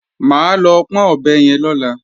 Mà á lọ pọ́n ọ̀bẹ yẹn lọ́la